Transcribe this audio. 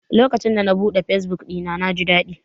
Lokacin da na buɗe fesbuk ɗina, na ji daɗi.